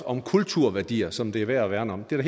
om kulturværdier som det er værd at værne om det er